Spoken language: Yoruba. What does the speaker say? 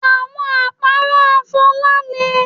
Àwọn àpárá Fola le